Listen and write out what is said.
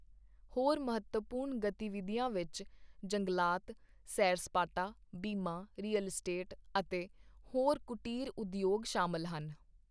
ਹੋਰ ਮਹੱਤਵਪੂਰਨ ਗਤੀਵਿਧੀਆਂ ਵਿੱਚ ਜੰਗਲਾਤ, ਸੈਰ ਸਪਾਟਾ, ਬੀਮਾ, ਰੀਅਲ ਅਸਟੇਟ ਅਤੇ ਹੋਰ ਕੁਟੀਰ ਉਦਯੋਗ ਸ਼ਾਮਲ ਹਨ।